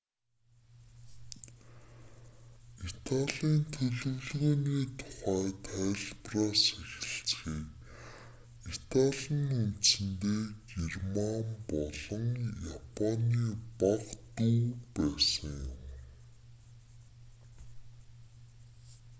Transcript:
италийн төлөвлөгөөний тухай тайлбараас эхэлцгээе итали нь үндсэндээ герман болон японы бага дүү байсан юм